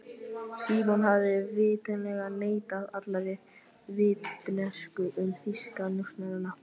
Símon hafði vitanlega neitað allri vitneskju um þýska njósnara.